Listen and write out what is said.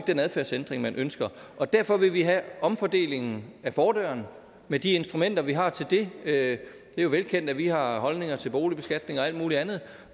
den adfærdsændring man ønsker og derfor vil vi have omfordelingen ad fordøren med de instrumenter vi har til det det er jo velkendt at vi har holdninger til boligbeskatning og alt muligt andet